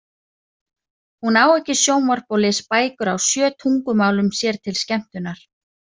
Hún á ekki sjónvarp og les bækur á sjö tungumálum sér til skemmtunar.